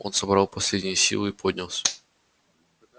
он собрал последние силы и поднялся